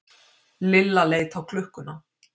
Lilla leit á klukkuna.